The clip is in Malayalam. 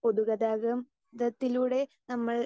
സ്പീക്കർ 2 പൊതുഗതാഗതം ത്തിലൂടെ നമ്മൾ